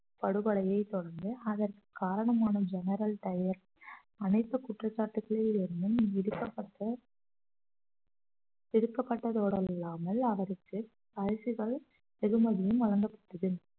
படுகொலையைத் தொடர்ந்து அதற்கு காரணமான general டயர் அனைத்துக் குற்றச்சாட்டுக்களில் இருந்தும் விடுக்கப்பட்ட விடுக்கப்பட்டதோடு இல்லாமல் அவருக்கு பரிசுகள் வெகுமதியும் வழங்கப்பட்டது